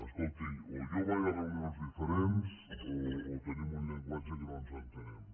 escolti o jo vaig a reunions diferents o tenim un llenguatge que no ens entenem